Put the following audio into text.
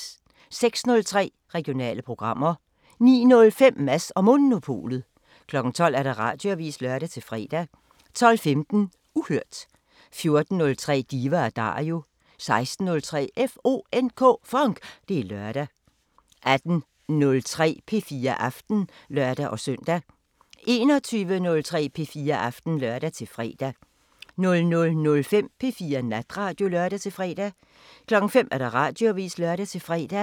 06:03: Regionale programmer 09:05: Mads & Monopolet 12:00: Radioavisen (lør-fre) 12:15: Uhørt 14:03: Diva & Dario 16:03: FONK! Det er lørdag 18:03: P4 Aften (lør-søn) 21:03: P4 Aften (lør-fre) 00:05: P4 Natradio (lør-fre) 05:00: Radioavisen (lør-fre)